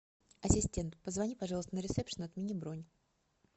ассистент позвони пожалуйста на ресепшн и отмени бронь